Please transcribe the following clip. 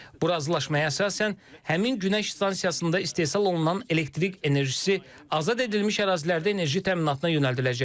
Bu razılaşmaya əsasən, həmin günəş stansiyasında istehsal olunan elektrik enerjisi azad edilmiş ərazilərdə enerji təminatına yönəldiləcək.